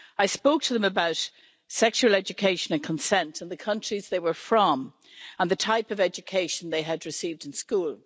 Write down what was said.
I spoke to them about sexual education and consent in the countries they were from and the type of education they had received in school.